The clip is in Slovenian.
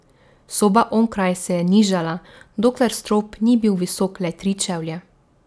Soba onkraj se je nižala, dokler strop ni bil visok le tri čevlje.